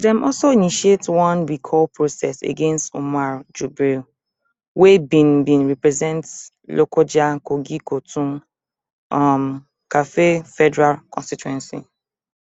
dem also initiate one recall process against umar jibril wey bin bin represent lokojakogikoton um karfe federal constituency